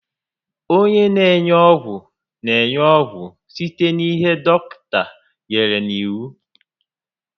Onye n'enye ọgwụ n'enye ọgwụ site n'ihe dọkịta nyèrè n'iwu